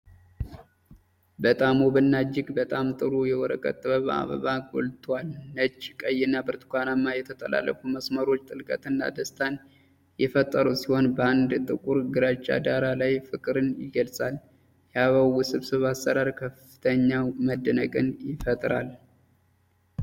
በጣም ውብና እጅግ በጣም ጥሩ የወረቀት ጥበብ አበባ ጎልቶአል። ነጭ፣ ቀይ እና ብርቱካናማ የተጠላለፉ መስመሮች ጥልቀትና ደስታን የፈጠሩ ሲሆን፣ በአንድ ጥቁር ግራጫ ዳራ ላይ ፍቅርን ይገልጻል። የአበባው ውስብስብ አሠራር ከፍተኛ መደነቅን ይፈጥራል።